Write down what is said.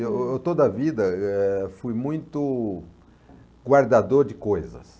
Eu eu eu toda a vida, eh, fui muito guardador de coisas.